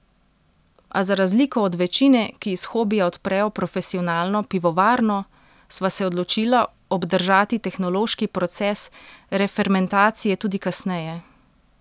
A za razliko od večine, ki iz hobija odprejo profesionalno pivovarno, sva se odločila obdržati tehnološki proces refermentacije tudi kasneje.